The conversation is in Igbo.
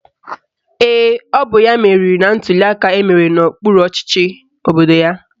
Ee, ọ bụ ya meriri na ntuliaka emere n'okpuru ọchịchị obodo ya